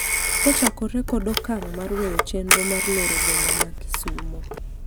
kochakore kod okang' mar weyo chenro mar loro boma ma Kisumo